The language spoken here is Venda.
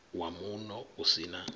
wa muno u si na